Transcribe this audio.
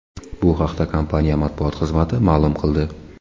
Bu haqda kompaniya matbuot xizmati ma’lum qildi.